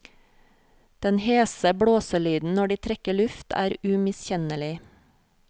Den hese blåselyden når de trekker luft, er umiskjennelig.